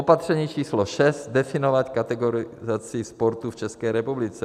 Opatření číslo šest - definovat kategorizaci sportu v České republice.